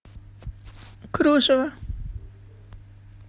кружева